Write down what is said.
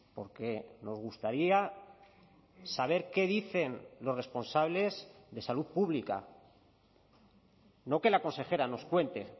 porque nos gustaría saber qué dicen los responsables de salud pública no que la consejera nos cuente